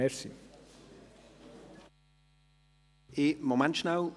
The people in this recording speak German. Einen kurzen Moment bitte!